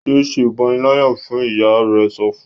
yé ṣe ìpaniláyà fún! ìyá rẹ sọfún.